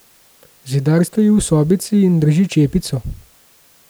Zidar stoji v sobici in drži čepico.